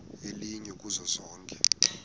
elinye kuzo zonke